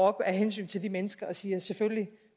af hensyn til de mennesker og siger at selvfølgelig